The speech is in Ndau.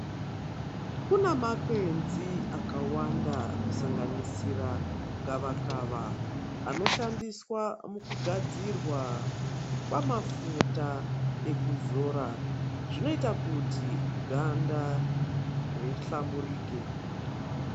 Kuna makwenzi akawanda kusanganisira gava kava ano shandiswa muku gadzirwa kwa mafuta ekuzora zvinoita kuti ganda ri hlamburike.